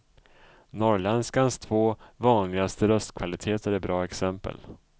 Norrländskans två vanligaste röstkvaliteter är bra exempel.